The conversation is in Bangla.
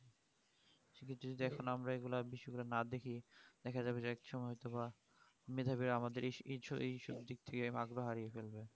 পৃথিবীতে এখন আমরা এই গুলা বেশির ভাগ না দেখি দেখা যাবে যে একসময় মেধাবীরা আমাদের এই~ছ এইসব দিক দিয়ে ভাগ্য হারিয়ে যাবে